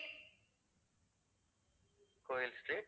கோவில் street